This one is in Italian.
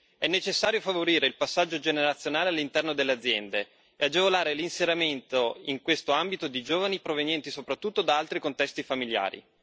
È necessario favorire il passaggio generazionale all'interno delle aziende e agevolare l'inserimento in questo ambito di giovani provenienti soprattutto da altri contesti familiari.